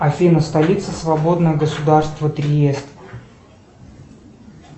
афина столица свободного государства триест